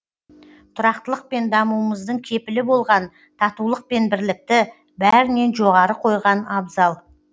тұрақтылық пен дамуымыздың кепілі болған татулық пен бірлікті бәрінен жоғары қойған абзал